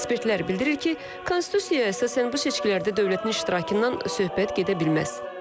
Ekspertlər bildirir ki, Konstitusiyaya əsasən bu seçkilərdə dövlətin iştirakından söhbət gedə bilməz.